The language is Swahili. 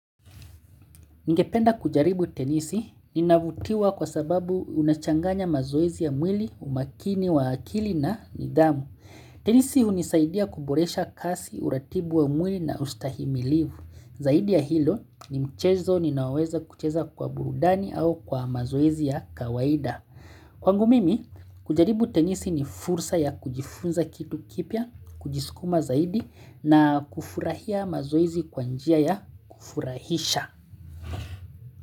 Ningependa kujaribu tenisi ninavutiwa kwa sababu unachanganya mazoezi ya mwili, umakini, wa akili na nidhamu. Tenisi hunisaidia kuboresha kazi, uratibu wa mwili na ustahimilivu. Zaidi ya hilo ni mchezo ninaoweza kucheza kwa burudani au kwa mazoezi ya kawaida. Kwangu mimi, kujaribu tenisi ni fursa ya kujifunza kitu kipya, kujisukuma zaidi na kufurahia mazoezi kwa njia ya kufurahisha.